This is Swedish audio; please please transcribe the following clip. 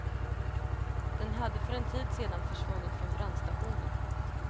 Den hade för en tid sedan försvunnit från brandstationen.